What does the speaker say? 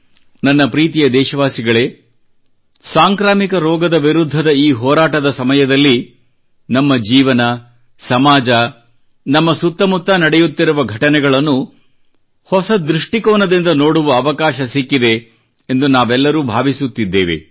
ನನ್ನ ಪ್ರೀತಿಯ ದೇಶವಾಸಿಗಳೇ ಸಾಂಕ್ರಾಮಿಕ ರೋಗದ ವಿರುದ್ಧದ ಈ ಹೋರಾಟದ ಸಮಯದಲ್ಲಿ ನಮ್ಮ ಜೀವನ ಸಮಾಜ ನಮ್ಮ ಸುತ್ತಮುತ್ತ ನಡೆಯುತ್ತಿರುವ ಘಟನೆಗಳನ್ನು ಹೊಸ ದೃಷ್ಟಿಕೋನದಿಂದ ನೋಡುವ ಅವಕಾಶ ಸಿಕ್ಕಿದೆ ಎಂದು ನಾವೆಲ್ಲರೂ ಭಾವಿಸುತ್ತಿದ್ದೇವೆ